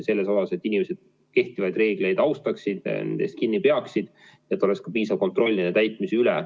Et inimesed kehtivaid reegleid austaks, nendest kinni peaksid, peaks olema ka piisav kontroll nende täitmise üle.